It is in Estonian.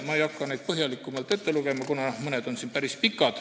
Ma ei hakka neid ette lugema, kuna mõned on päris pikad.